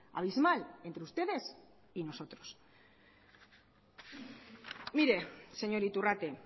abismal entre ustedes y nosotros mire señor iturrate